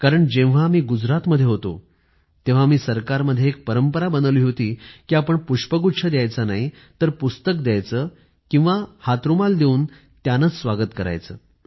कारण जेव्हा मी गुजरात मध्ये होतो तेव्हा मी सरकारमध्ये एक परंपरा बनवली होती कि आपण पुष्पगुच्छ द्यायचा नाही तर पुस्तक द्यायचं किंवा हातरुमाल देऊन त्यानेच स्वागत करायचं